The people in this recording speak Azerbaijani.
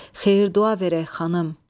Xeyir-dua verək, xanım.